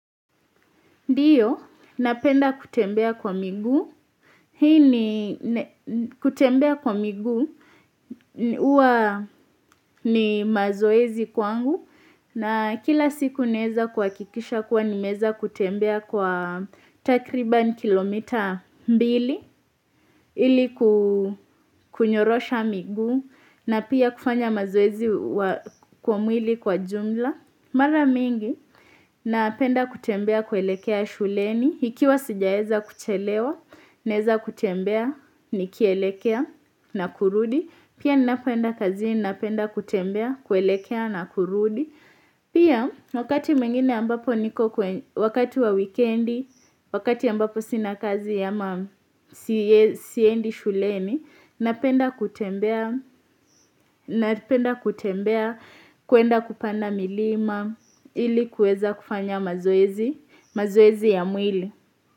Ndio, napenda kutembea kwa miguu. Hii ni kutembea kwa miguu, huwa ni mazoezi kwangu. Na kila siku naweza kuhakikisha kuwa nimeweza kutembea kwa takriban kilomita mbili. Ili kukunyorosha miguu na pia kufanya mazoezi kwa mwili kwa jumla. Mara mingi, napenda kutembea kuelekea shuleni, nikiwa sijaweza kuchelewa, naweza kutembea, nikielekea na kurudi. Pia napenda kazi, napenda kutembea, kuelekea na kurudi. Pia, wakati mwingine ambapo niko wakati wa wikendi, wakati ambapo sina kazi ama siendi shuleni, napenda kutembea kutembea, kwenda kupanda milima, ili kuweza kufanya mazoezi, mazoezi ya mwili.